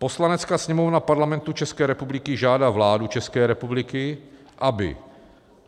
"Poslanecká sněmovna Parlamentu České republiky žádá vládu České republiky, aby